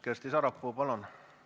Kersti Sarapuu, palun!